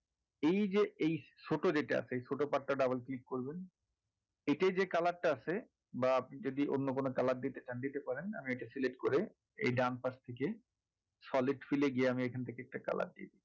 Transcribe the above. এই যে এই ছোট যেটা আছে এই ছোট part টা double click করবেন এটায় যে color টা আছে বা আপনি যদি অন্য কোনো color দিতে চান দিতে পারেন আগে এটা select করে এই ডানপাশ থেকে solid fill এ গিয়ে আমি যেকোন থেকে একটা color দিই